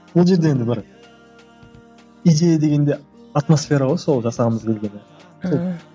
ол жерде енді бір идея дегенде атмосфера ғой сол жасағымыз келгені ааа